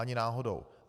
Ani náhodou.